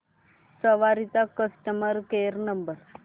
सवारी चा customer care number